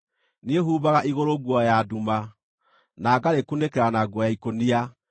Niĩ humbaga igũrũ nguo ya nduma, na ngarĩkunĩkĩra na nguo ya ikũnia.”